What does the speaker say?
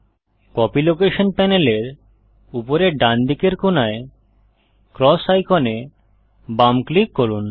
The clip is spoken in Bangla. কপি লোকেশন প্যানেলের উপরের ডান দিকের কোণায় ক্রস আইকনে বাম ক্লিক করুন